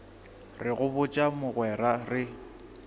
re go botša mogwera re